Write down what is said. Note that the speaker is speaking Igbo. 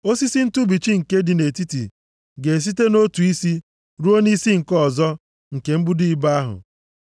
Osisi ntụbichi nke dị nʼetiti ga-esite nʼotu isi ruo nʼisi nke ọzọ nke mbudo ibo ahụ.